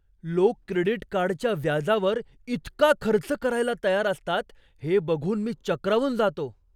लोक क्रेडिट कार्डच्या व्याजावर इतका खर्च करायला तयार असतात हे बघून मी चक्रावून जातो.